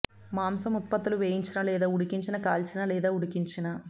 మాంసం ఉత్పత్తులు వేయించిన లేదా ఉడికించిన కాల్చిన లేదా ఉడికించిన